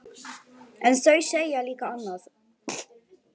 Við sváfum saman þá nótt.